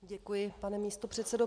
Děkuji, pane místopředsedo.